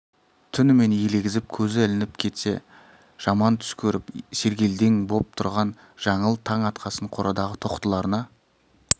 түнімен елегізіп көзі ілініп кетсе жаман түс көріп сергелдең боп тұрған жаңыл таң атқасын қорадағы тоқтыларына